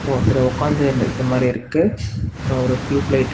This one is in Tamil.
ஒருத்தர் உக்காந்துன்னு இருக்க மாரி இருக்கு அப்ரோ ஒரு டியூப்லைட் .